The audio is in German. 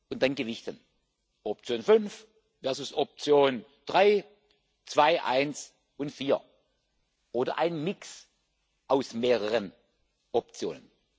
und dann gewichten Option fünf, das ist Option drei, zwei, eins und vier oder ein Mix aus mehreren Optionen.